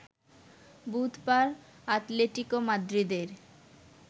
বুধবার আতলেতিকো মাদ্রিদের